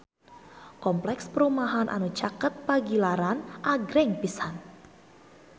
Kompleks perumahan anu caket Pagilaran agreng pisan